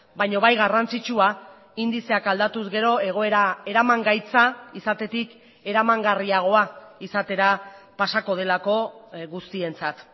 baina bai garrantzitsua indizeak aldatuz gero egoera eramangaitza izatetik eramangarriagoa izatera pasako delako guztientzat